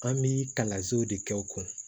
An bi kalansow de kɛ o kun